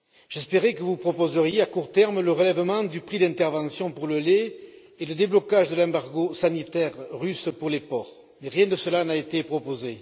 J'espérais que vous proposeriez à court terme le relèvement du prix d'intervention pour le lait et le déblocage de l'embargo sanitaire russe sur les porcs, mais rien de cela n'a été proposé.